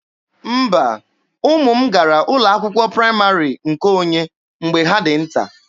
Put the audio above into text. Mba, ụmụ m gara ụlọ akwụkwọ praịmarị nke onye mgbe ha dị nta.